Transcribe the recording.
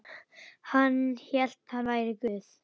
Hann hélt hann væri Guð.